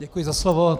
Děkuji za slovo.